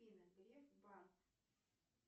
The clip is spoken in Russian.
афина греф банк